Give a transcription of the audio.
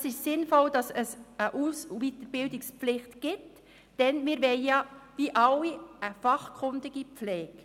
Es ist sinnvoll, dass es eine Aus- und Weiterbildungspflicht gibt, denn wir wollen, wie alle, eine fachkundige Pflege.